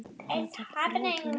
Athöfn fyrir allan aldur.